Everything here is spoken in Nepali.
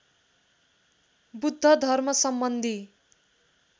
बुद्ध धर्मसम्बन्धी